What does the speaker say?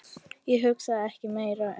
Ég hugsaði ekki meira um